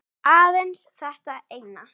Aðeins þetta eina